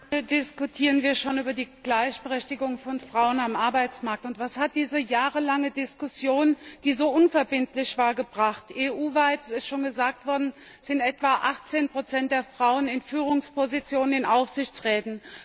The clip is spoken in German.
Herr Präsident! Wie lange diskutieren wir schon über die Gleichberechtigung von Frauen am Arbeitsmarkt, und was hat diese jahrelange Diskussion, die so unverbindlich war, gebracht? EU weit es ist schon gesagt worden sind etwa 18 der Frauen in Führungspositionen in Aufsichtsräten.